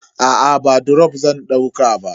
Aa ba drop zan dauka ba.